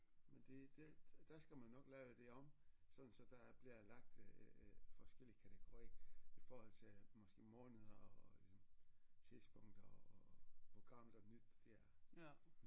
Men det det der skal man nok lave det om sådan så der bliver lagt øh øh forskellige kategori i forhold til måske måneder og ligesom tidspunkter og hvor gammelt og nyt det er